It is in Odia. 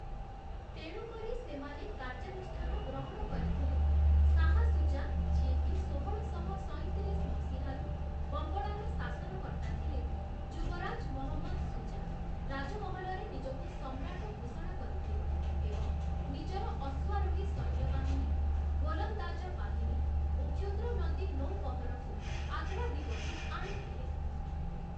ତେଣୁ କରି ସେମାନେ କାର୍ଯ୍ୟାନୁଷ୍ଠାନ ଗ୍ରହଣ କରିଥିଲେ । ଶାହା ସୁଜା ଯିଏକି ଷୋହଳଶହ ସଇଁତିରିଶ ମସିହାରୁ ବଙ୍ଗଳାର ଶାସନକର୍ତ୍ତା ଥିଲେ, 'ଯୁବରାଜ ମହମ୍ମଦ ସୁଜା' ରାଜମହଲରେ ନିଜକୁ ସମ୍ରାଟ ଘୋଷଣା କରିଥିଲେ ଏବଂ ନିଜର ଅଶ୍ୱାରୋହୀ ସୈନ୍ୟବାହିନୀ, ଗୋଲନ୍ଦାଜ ବାହିନୀ, ଓ କ୍ଷୁଦ୍ର ନଦୀ ନୌବହରକୁ ଆଗ୍ରା ଦିଗକୁ ଆଣିଥିଲେ ।